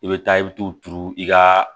I bɛ taa i bɛ t'u turu i ka